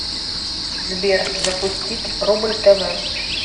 сбер запустить рубль тв